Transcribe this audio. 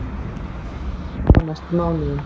Spá hægfara bata á næstu mánuðum